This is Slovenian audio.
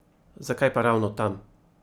Zakaj pa ravno tam?